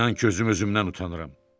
İnan ki, özüm özümdən utanıram.